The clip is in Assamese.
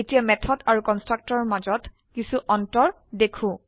এতিয়া মেথড আৰু কনস্ট্ৰাক্টৰৰ মাজত কিছো অন্তৰ দেখো